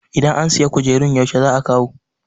idan an sayi kujerun yaushe za a kawo?